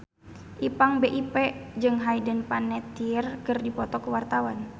Ipank BIP jeung Hayden Panettiere keur dipoto ku wartawan